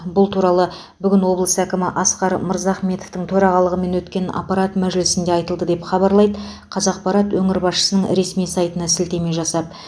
бұл туралы бүгін облыс әкімі асқар мырзахметовтың төрағалығымен өткен аппарат мәжілісінде айтылды деп хабарлайды қазақпарат өңір басшысының ресми сайтына сілтеме жасап